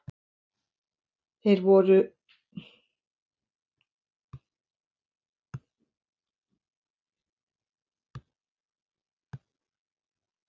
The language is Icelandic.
Þar voru þeir í sóttkví.